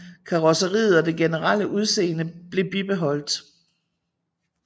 Karrosseriet og det generelle udseende blev bibeholdt